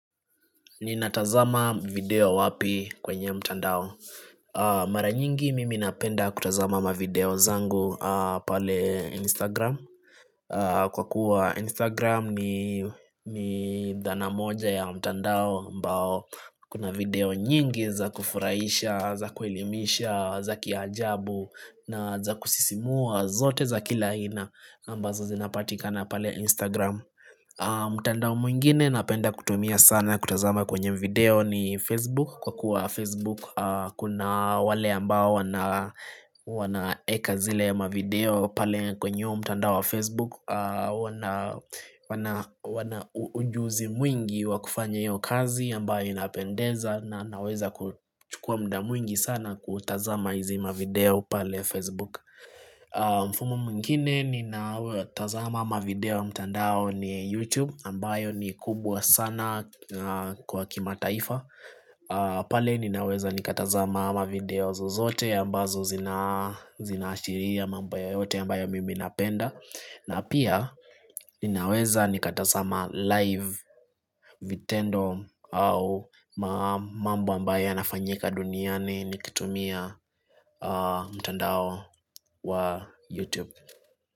Ninatazama video wapi kwenye mtandao Mara nyingi mimi napenda kutazama mavideo zangu pale Instagram Kwa kuwa Instagram ni dhanamoja ya mtandao ambao kuna video nyingi za kufurahisha, za kuelimisha, za kiajabu na za kusisimua zote za kila aina ambazo zinapatikana pale Instagram mtandao mwingine napenda kutumia sana kutazama kwenye video ni Facebook Kwa kuwa Facebook kuna wale ambao wanaweka zile mavideo pale kwenye huo mtandao wa Facebook wana ujuzi mwingi wakufanya iyo kazi ambayo inapendeza na naweza kuchukua muda mwingi sana kutazama hizi mavideo pale Facebook mfumo mwingine ninao tazama mavideo mtandao ni YouTube ambayo ni kubwa sana kwa kima taifa pale ninaweza nikatazama mavideo zozote ambazo zinaashiria mambo yoyote ambayo mimi napenda na pia ninaweza nikatazama live vitendo au mambo ambayo yanafanyika duniani nikitumia mtandao wa YouTube.